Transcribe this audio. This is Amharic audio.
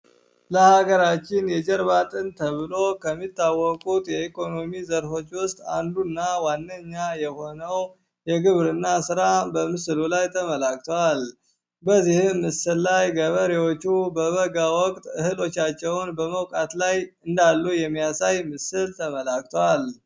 ለሃገራችን የጀርባ ተብሎ ከሚታወቁት የኢኮኖሚ ዘርፎች አንዱ ነው ዋነኛ የሆነው የግብርና ራ በምስሉ ላይ የተመላክቷል በመውጣት ላይ እንዳሉ የሚያሳይ ምስል ተበላ